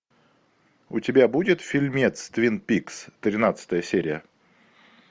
у тебя будет фильмец твин пикс тринадцатая серия